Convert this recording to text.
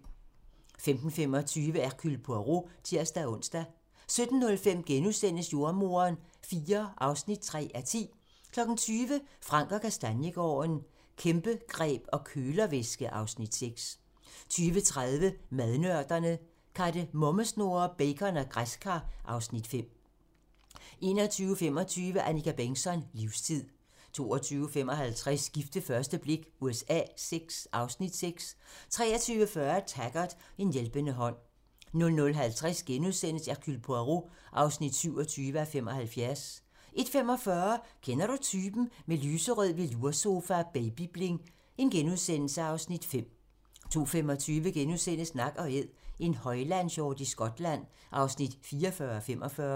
15:25: Hercule Poirot (tir-ons) 17:05: Jordemoderen IV (3:10)* 20:00: Frank & Kastaniegaarden - Kæmpegreb og kølervæske (Afs. 6) 20:30: Madnørderne - Kardemommesnurrer, bacon og græskar (Afs. 5) 21:25: Annika Bengtzon: Livstid 22:55: Gift ved første blik USA VI (Afs. 6) 23:40: Taggart: En hjælpende hånd 00:50: Hercule Poirot (27:75)* 01:45: Kender du typen? - Med lyserød veloursofa og baby-bling (Afs. 5)* 02:25: Nak & Æd - en højlandshjort i Skotland (44:45)*